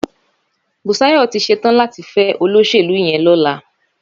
Bùsáyọ̀ tí ṣetán láti fẹ́ olóṣèlú yẹn lọ́la.